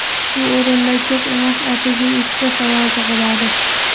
Shu o‘rinda ko‘p emas, atigi ikkita savol tug‘iladi.